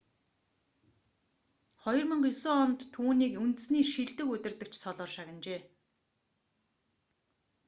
2009 онд түүнийг үндэсний шилдэг удирдагч цолоор шагнажээ